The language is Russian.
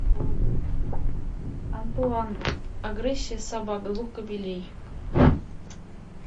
антуан агрессия собак двух кабелей